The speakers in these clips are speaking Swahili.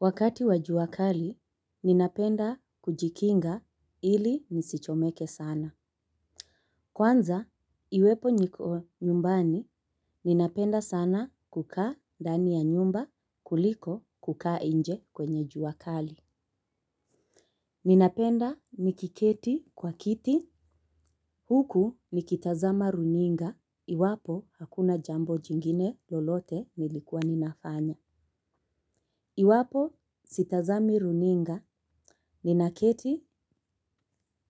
Wakati wa jua kali, ninapenda kujikinga ili nisichomeke sana. Kwanza iwepo niko nyumbani ninapenda sana kukaa ndani ya nyumba kuliko kukaa nje kwenye jua kali. Ninapenda nikiketi kwa kiti, huku nikitazama runinga, iwapo hakuna jambo jingine lolote nilikuwa ninafanya. Iwapo sitazami runinga, ninaketi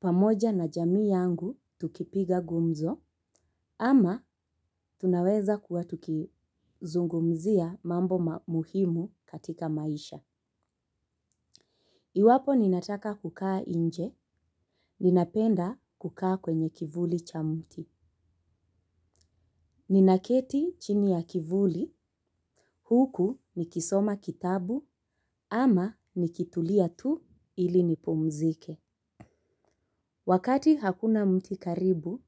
pamoja na jamii yangu tukipiga gumzo, ama tunaweza kuwa tukizungumzia mambo muhimu katika maisha. Iwapo ninataka kukaa nje, ninapenda kukaa kwenye kivuli cha mti. Ninaketi chini ya kivuli, huku nikisoma kitabu, ama nikitulia tu ili nipumzike. Wakati hakuna mti karibu,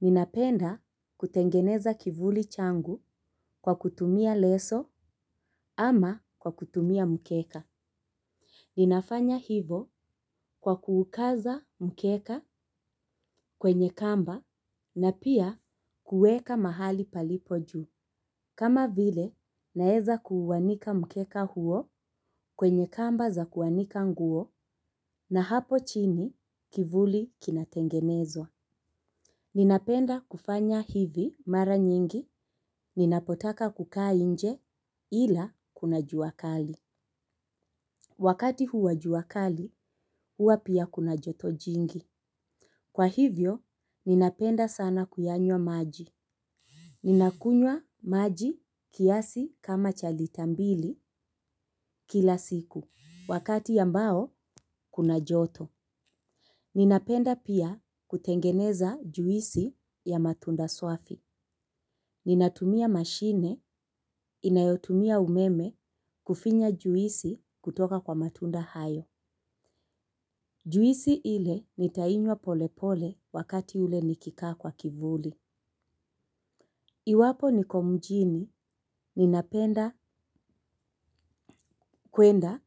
ninapenda kutengeneza kivuli changu kwa kutumia leso ama kwa kutumia mkeka. Ninafanya hivo kwa kuukaza mkeka kwenye kamba na pia kueka mahali palipo juu. Kama vile naeza kuuanika mkeka huo kwenye kamba za kuanika nguo na hapo chini kivuli kinatengenezwa. Ninapenda kufanya hivi mara nyingi ninapotaka kukaa nje ila kuna juakali. Wakati huwa juakali huwa pia kuna joto jingi. Kwa hivyo ninapenda sana kuyanywa maji. Ninakunywa maji kiasi kama cha lita mbili kila siku wakati ambao kuna joto. Ninapenda pia kutengeneza juisi ya matunda swafi. Ninatumia mashine inayotumia umeme kufinya juisi kutoka kwa matunda hayo. Juisi ile nitainywa pole pole wakati ule nikikaa kwa kivuli. Iwapo nikomjini ninapenda kwenda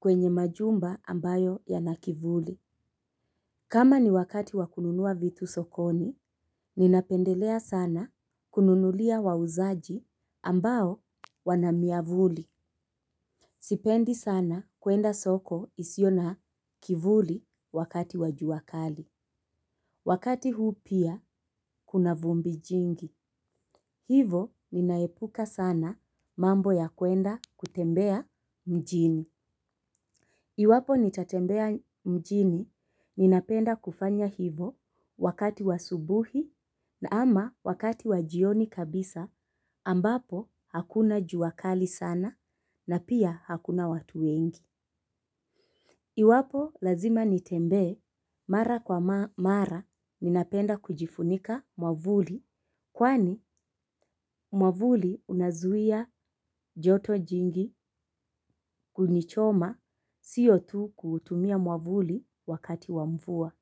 kwenye majumba ambayo yana kivuli. Kama ni wakati wa kununua vitu sokoni ninapendelea sana kununulia wauzaji ambao wana miavuli. Sipendi sana kuenda soko isiyo na kivuli wakati wa juakali. Wakati huu pia kuna vumbi jingi. Hivo ninaepuka sana mambo ya kuenda kutembea mjini. Iwapo nitatembea mjini, ninapenda kufanya hivo wakati wa asubuhi na ama wakati wa jioni kabisa ambapo hakuna juakali sana na pia hakuna watu wengi. Iwapo lazima nitembee mara kwa mara ninapenda kujifunika mwavuli kwani mwavuli unazuia joto jingi kuni choma siyo tu kuutumia mwavuli wakati wa mvua.